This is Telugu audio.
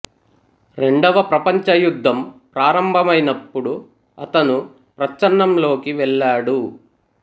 రెండవ ప్రపంచ యుద్ధం ప్రారంభమైనప్పుడు అతను ప్రచ్ఛన్నం లోకి వెళ్ళాడు